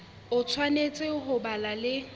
o tshwanetse ho ba le